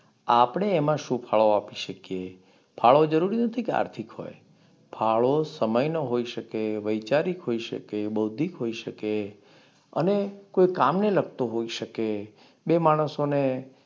આપણે એમાં શું ફાળો આપી શકીએ? ફાળો જરૂરી નથી કે આર્થિક હોય, ફાળો સમયન હોઈ શકે, વૈચારિક હોઈ શકે, બૌદ્ધિક હોઈ શકે, અને કોઈ કામને લાગતો હોઈ શકે. બે માણસોને